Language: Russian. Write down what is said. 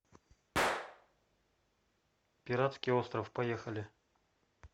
пиратский остров поехали